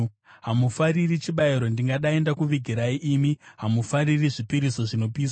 Hamufariri chibayiro, ndingadai ndakuvigirai, imi hamufariri zvipiriso zvinopiswa.